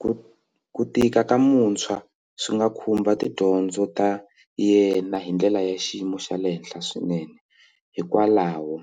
Ku ku tika ka muntshwa swi nga khumba tidyondzo ta yena hi ndlela ya xiyimo xa le henhla swinene hikwalaho